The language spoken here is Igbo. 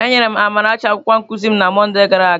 Enyere m Amarachi akwụkwọ nkuzi m na Mọnde gara aga.